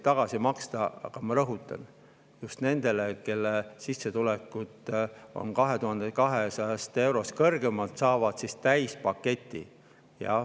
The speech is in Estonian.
Aga ma rõhutan: just need, kelle sissetulek on 2200 eurost suurem, saavad täispaketi.